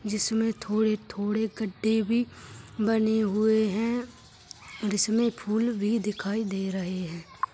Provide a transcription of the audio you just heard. जिसमे थोड़े थोड़े गड्डे भी बने हुए हैं इसमे फूल भी दिखाई दे रहे हैं।